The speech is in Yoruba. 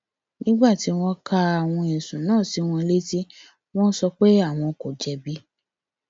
nígbà tí wọn ka àwọn ẹsùn náà sí wọn létí wọn sọ pé àwọn kò jẹbi